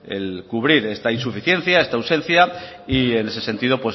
el cubrir esta insuficiencia esta ausencia en ese sentido